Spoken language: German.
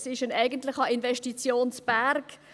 Es ist ein eigentlicher Investitionsberg.